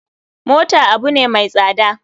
Mota abune mai tsada.